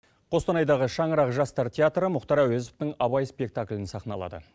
қостанайдағы шаңырақ жастар театры мұхтар ауезовтың абай спектаклін сахналады